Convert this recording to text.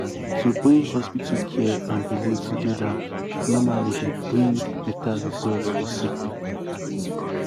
wait- um to bring hospital care and belief togeda normally dey bring um beta result for sick poeple. um